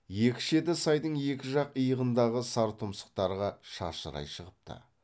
екі шеті сайдың екі жақ иығындағы сар тұмсықтарға шашырай шығыпты